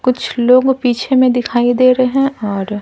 कुछ लोग पीछे में दिखाई दे रहे हैं और --